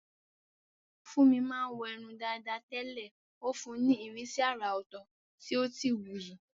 Funmi máa ń wọ irun dàda tẹ́lẹ̀, ó fún un ní ìrísí àrà ọ̀tọ̀ tí ó sì wuyì.